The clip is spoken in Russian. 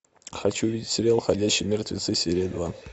хочу увидеть сериал ходячие мертвецы серия два